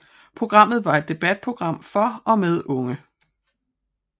Programmet var et debatprogram for og med unge